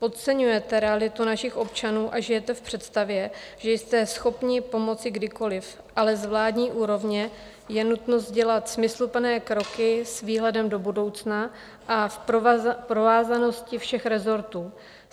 Podceňujete realitu našich občanů a žijete v představě, že jste schopni pomoci kdykoliv, ale z vládní úrovně je nutno dělat smysluplné kroky s výhledem do budoucna a v provázanosti všech rezortů.